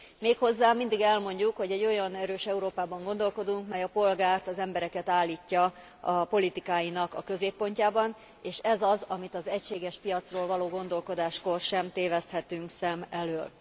Méghozzá mindig elmondjuk, hogy egy olyan erős Európában gondolkodunk, mely a polgárt, az embereket állítja a politikáinak a középpontjába, és ez az, amit az egységes piacról való gondolkodáskor sem téveszthetünk szem elől.